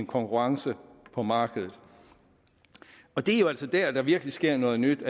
konkurrence på markedet det er jo altså dér der virkelig sker noget nyt